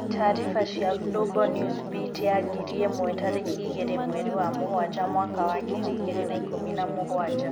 Tariba cia Global Newsbeat ya ngiri ĩmwe tariki igĩrĩ mweri wa mũgwanja mwaka wa ngiri igĩrĩ na ikũmi na mũgwanja.